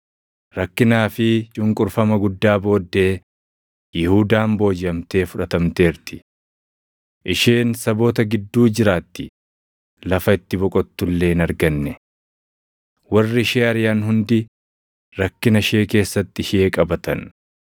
Rakkinaa fi cunqurfama guddaa booddee Yihuudaan boojiʼamtee fudhatamteerti. Isheen saboota gidduu jiraatti, lafa itti boqottu illee hin arganne. Warri ishee ariʼan hundi rakkina ishee keessatti ishee qabatan.